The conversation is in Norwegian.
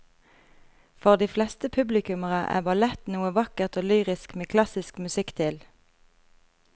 For de fleste publikummere er ballett noe vakkert og lyrisk med klassisk musikk til.